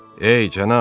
Ey, cənab!